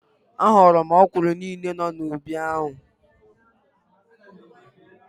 A ghọrọ m ọkwụrụ niile nọ n'ubi ahụ.